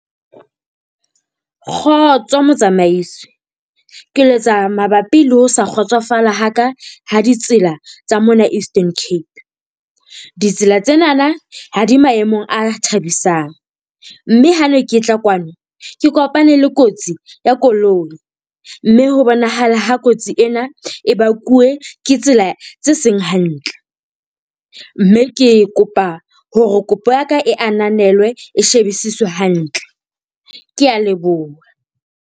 Kgotso motsamaisi, ke letsa mabapi le ho sa kgotsofala ha ka ha ditsela tsa mona Eastern Cape. Ditsela tsenana ha di maemong a thabisang, mme ha ne ke tla kwano ke kopane le kotsi ya koloi mme ho bonahala ha kotsi ena e bakuwe ke tsela tse seng hantle. Mme ke kopa hore kopo ya ka e ananelwe, e shebisiswe hantle. Kea leboha.